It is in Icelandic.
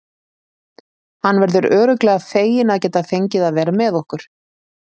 Hann verður örugglega feginn að geta fengið að vera með okkur.